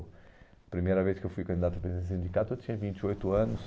A primeira vez que eu fui candidato a presidente do sindicato, eu tinha vinte e oito anos.